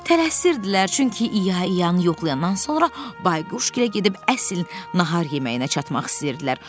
Tələsirdilər, çünki İya İyanı yoxlayandan sonra Bayquşgilə gedib əsl nahar yeməyinə çatmaq istəyirdilər.